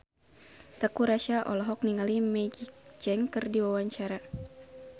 Teuku Rassya olohok ningali Maggie Cheung keur diwawancara